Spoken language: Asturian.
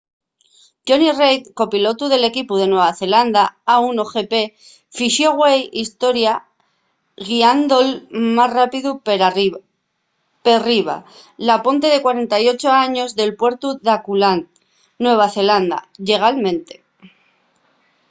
jonny reid copilotu del equipu de nueva zelanda a1gp fixo güei historia guiando’l más rápidu perriba la ponte de 48 años del puertu d’auckland nueva zelanda llegalmente